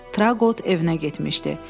Trabot evinə getmişdi.